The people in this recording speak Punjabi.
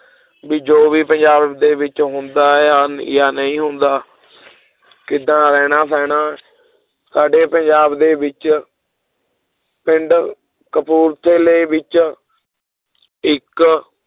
ਵੀ ਜੋ ਵੀ ਪੰਜਾਬ ਦੇ ਵਿੱਚ ਹੁੰਦਾ ਜਾਂ, ਜਾਂ ਨਹੀਂ ਹੁੰਦਾ ਕਿੱਦਾਂ ਰਹਿਣਾ ਸਹਿਣਾ ਸਾਡੇ ਪੰਜਾਬ ਦੇ ਵਿੱਚ ਪਿੰਡ ਕਪੂਰਥਲੇ ਵਿੱਚ ਇੱਕ